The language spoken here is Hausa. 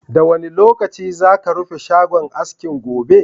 Da wane lokaci za ka rufe shagon aski gobe?